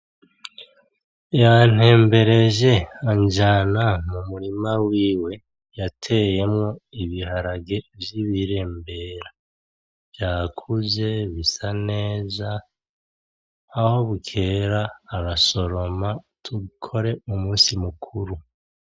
Yantembereje anjana mu murima wiwe yateyemwo ibiharage vy'ibirembera. vyakuze bisa neza. Aho bukera arasoroma dukore umusi mukuru.